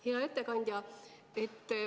Hea ettekandja!